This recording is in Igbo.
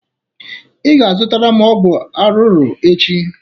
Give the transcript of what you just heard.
Ị ga-azụtara m ọgwụ arụrụ echi